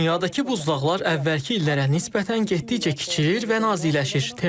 Dünyadakı buzlaqlar əvvəlki illərə nisbətən getdikcə kiçilir və naziləşir.